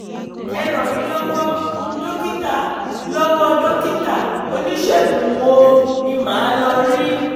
ẹ ràn mí lọ́wọ́ dókítà lọ́wọ́ dókítà oníṣègùn wo ni màá lọ rí?